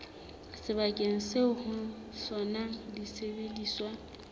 sebakeng seo ho sona disebediswa